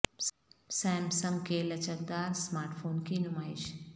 سام سنگ کے لچک دار سمارٹ فون کی نمائش